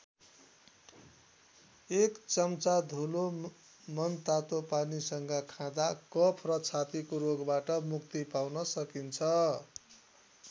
एक चम्चा धुलो मनतातो पानीसँग खाँदा कफ र छातीको रोगबाट मुक्ति पाउन सकिन्छ।